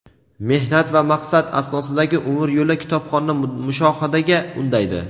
mehnat va maqsad asnosidagi umr yo‘li kitobxonni mushohadaga undaydi.